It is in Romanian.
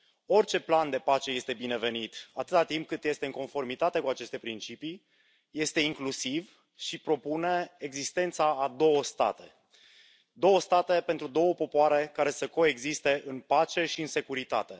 Orice plan de pace este binevenit, atât timp cât este în conformitate cu aceste principii, este incluziv și propune existența a două state, două state pentru două popoare, care să coexiste în pace și în securitate.